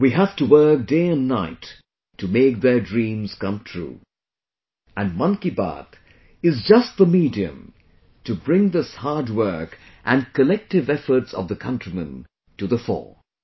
We have to work day and night to make their dreams come true and 'Mann Ki Baat' is just the medium to bring this hard work and collective efforts of the countrymen to the fore